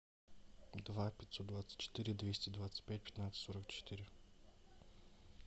два пятьсот двадцать четыре двести двадцать пять пятнадцать сорок четыре